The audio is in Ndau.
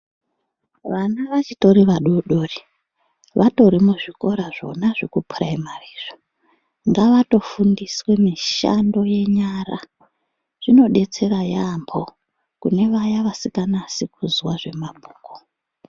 Vana vachitori vadodori vatori muzvikora zvona zvekupuraimari izvo ngava fundiswe mishando yenyara zvinodetsera yambo kunevaya vasinganasi kuzwa zvemabhuku .